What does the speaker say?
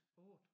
8